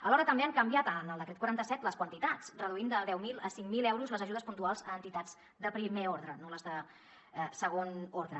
alhora també han canviat en el decret quaranta set les quantitats i han reduït de deu mil a cinc mil euros les ajudes puntuals a entitats de primer ordre no les de segon ordre